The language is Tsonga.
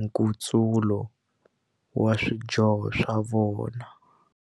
nkutsulo wa swidyoho swa vona.